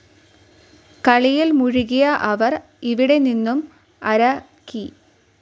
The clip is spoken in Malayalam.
കളിയിൽ‌ മുഴുകിയ അവർ‌, ഇവിടെ നിന്നും അര കി.